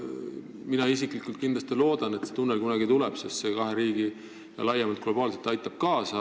Mina isiklikult kindlasti loodan, et see tunnel kunagi tuleb, sest see aitab kahe riigi suhetele laiemalt kaasa.